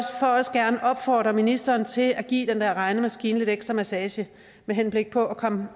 også gerne opfordre ministeren til at give den der regnemaskine lidt ekstra massage med henblik på at komme